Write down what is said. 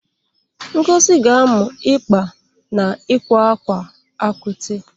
Ngozi ga-amụ ịkpa na ịkwa akwa akwaete.